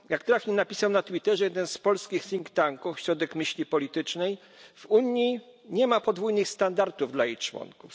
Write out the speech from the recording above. Jak trafnie napisał na Twitterze jeden z polskich think tanków Ośrodek Myśli Politycznej W Unii nie ma podwójnych standardów dla jej członków.